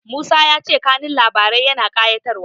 Musa ya ce kanun labarin yana ƙayatarwa.